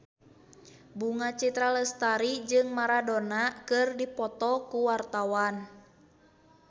Bunga Citra Lestari jeung Maradona keur dipoto ku wartawan